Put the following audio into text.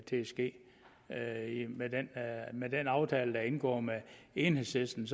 ske med med den aftale der er indgået med enhedslisten